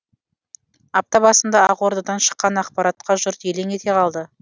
апта басында ақордадан шыққан ақпаратқа жұрт елең ете қалды